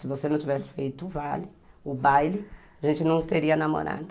Se você não tivesse feito o baile, o baile, a gente não teria namorado.